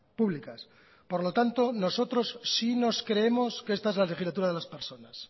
públicas por lo tanto nosotros sí nos creemos que esta es la legislatura de las personas